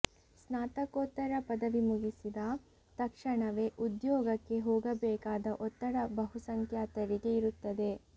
ಸ್ನಾತಕೋತ್ತರ ಪದವಿ ಮುಗಿಸಿದ ತಕ್ಷಣವೇ ಉದ್ಯೋಗಕ್ಕೆ ಹೋಗಬೇಕಾದ ಒತ್ತಡ ಬಹುಸಂಖ್ಯಾತರಿಗೆ ಇರುತ್ತದೆ